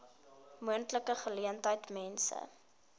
moontlike geleentheid mense